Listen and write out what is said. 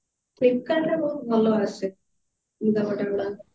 filpkart ରେ ବହୁତ ଭଲ ଆସେ ଲୁଗାପଟା ଗୁଡାକ